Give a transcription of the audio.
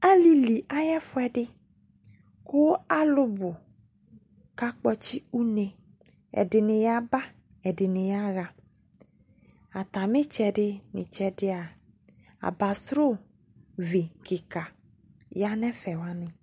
Alili aye ɛfuɛde ko alubo ka kɔtse une Ɛdene yaba, ɛdene yaha Atame tsɛde no tsɛdea abansro vi kika ya no ɛfɛ wane